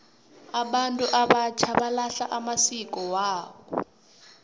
abantu abatjha balahla amasiko wekhabo